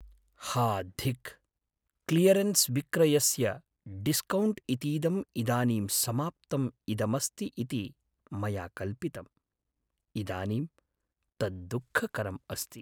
हा धिक् क्लियरेन्स् विक्रयस्य डिस्कौण्ट् इतीदं इदानीं समाप्तम् इदमस्ति इति मया कल्पितम्, इदानीं तत् दुःखकरम् अस्ति।